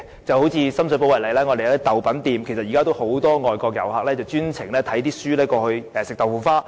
以深水埗為例，當中有家豆品店，現時有很多外國遊客也會特地到該店吃豆腐花。